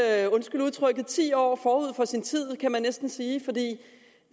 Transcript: er undskyld udtrykket ti år forud for sin tid kan man næsten sige for